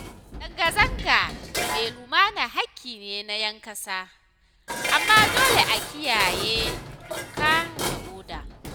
Zanga-zanga mai lumana haƙƙi ne na 'yan kasa, amma dole a kiyaye doka da oda.